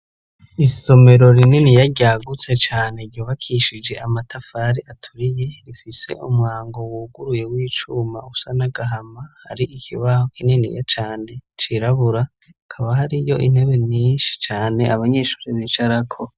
Isomero rininiya ryagutse cane ryubakishije amatafari aturiye rifise umwango wuguruye w'icuma usa n'agahama, hari ikibaho kinini cane cirabura, hakaba hariyo intebe nyinshi cane abanyeshure bicarako.